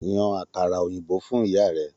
Yan àkàrà òyìnbó fún ìyá rẹ!